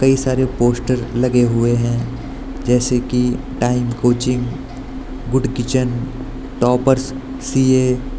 ये सारे पोस्टर लगे हुए हैं जैसे की time coaching good kitchen toppers C A.